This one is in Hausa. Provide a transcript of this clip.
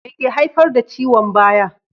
Me ke haifar da ciwon baya?